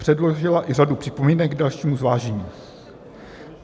Předložila i řadu připomínek k dalšímu zvážení.